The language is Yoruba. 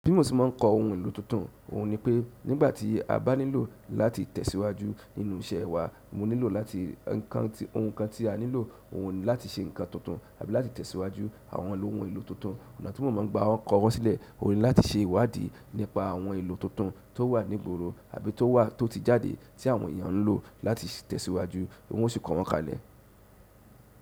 Bi mo sì máà ń kọ ohun èlò tuntun, òhun ni pé nígbà tí a bá nílò láti tẹ̀síwájú nínú iṣẹ́ wa, mo nílò láti ohun kan tí a nílò, òhun láti ṣe nǹkan tuntun àbí láti tẹ̀síwájú àwọn ohun èlò tuntun. Ọ̀nà tí mo máà ń gba wọn kọwọ́ sílẹ̀, òhun ni láti ṣe ìwádìí nípa àwọn èlò tuntun tó wà ní ìgboro àbí tó ti jáde tí àwọn èèyàn ń lò láti tẹ̀síwájú, ó sì kọ́ wọn kalẹ̀.